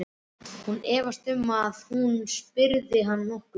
Hún efaðist um, að hún spyrði hann nokkurs.